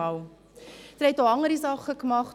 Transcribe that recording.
Sie haben auch andere Dinge getan.